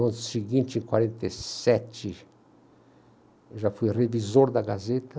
No ano seguinte, em quarenta e sete, eu já fui revisor da Gazeta.